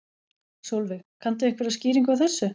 Sólveig: Kanntu einhverja skýringu á þessu?